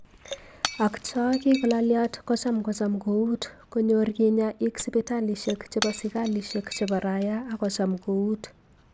Ak choo kigolalyat kocham kocham kout konyor kinyaa ik sipitalishek cheboo sikalishek chebo rayaa ak kocham kout.